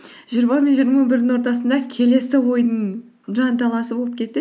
жиырма мен жиырма бірдің ортасында келесі ойдың жанталасы болып кетті